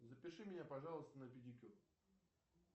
запиши меня пожалуйста на педикюр